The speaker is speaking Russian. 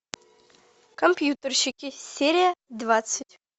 компьютерщики серия двадцать